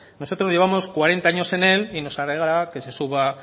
nosotros llevamos cuarenta años en él y nos alegrará que se suba